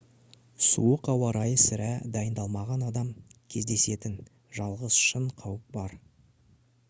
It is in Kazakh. суық ауа райы сірә дайындалмаған адам кездесетін жалғыз шын қауіп шығар